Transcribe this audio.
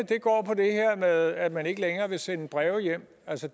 her med at man ikke længere vil sende brev hjem